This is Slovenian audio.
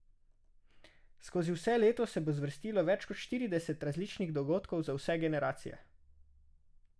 Skozi vse leto se bo zvrstilo več kot štirideset različnih dogodkov za vse generacije.